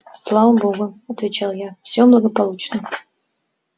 слава богу отвечал я все благополучно